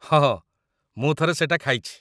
ହଁ, ମୁଁ ଥରେ ସେଟା ଖାଇଛି ।